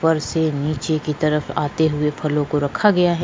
ऊपर से नीचे की तरफ आते हुए फलों को रखा गया है।